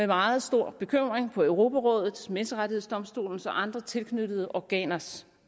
meget stor bekymring på europarådets menneskerettighedsdomstolens og andre tilknyttede organers